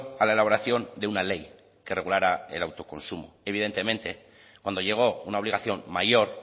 a la elaboración de una ley que regulara el autoconsumo evidentemente cuando llegó una obligación mayor